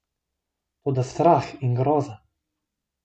Toda strah in groza!